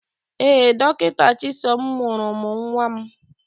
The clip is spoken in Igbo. Ee, Dọkịta Chisom mụrụ m nwa m.